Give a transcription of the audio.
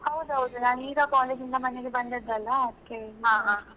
ಹಾ ಹೌದೌದು ನಾನ್ ಈಗ college ಇಂದ ಮನೆಗೆ ಬಂದದ್ ಅಲ್ಲಾ, ಹಾ ಅದ್ಕೆ.